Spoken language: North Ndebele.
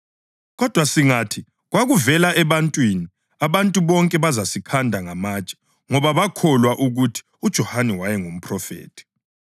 Kodwa singathi, ‘Kwakuvela ebantwini,’ abantu bonke bazasikhanda ngamatshe ngoba bakholwa ukuthi uJohane wayengumphrofethi.”